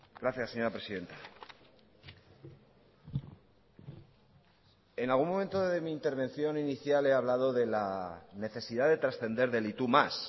gracias señora presidenta en algún momento de mi intervención inicial he hablado de la necesidad de trascender del y tú más